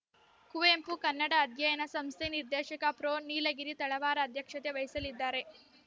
ಕುವೆಂಪು ಕನ್ನಡ ಅಧ್ಯಯನ ಸಂಸ್ಥೆ ನಿರ್ದೇಶಕ ಪ್ರೊ ನೀಲಗಿರಿ ತಳವಾರ ಅಧ್ಯಕ್ಷತೆ ವಹಿಸಲಿದ್ದಾರೆ